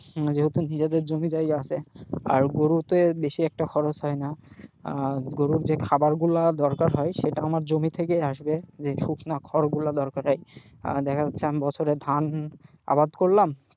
যেহেতু নিজেদের জমিজায়গা আছে আর গরুতে বেশি একটা খরচ হয়না আহ গরুর যে খাবারগুলো আমার দরকার হয় সেটা আমার জমি থেকেই আসবে যে শুকনা খড়গুলো দরকার হয় আহ দেখা যাচ্ছে আমি বছরে ধান আবাদ করলাম,